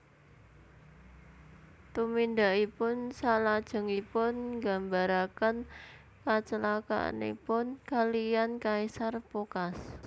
Tumindakipun salajengipun nggambaraken kacelakanipun kaliyan Kaisar Phocas